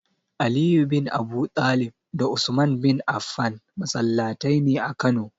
Aliyu bin Abudalib da Usman bin Afan masallataine a kano.